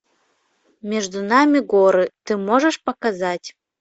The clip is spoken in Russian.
между нами горы ты можешь показать